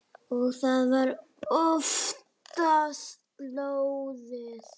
Og það var oftast lóðið.